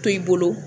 To i bolo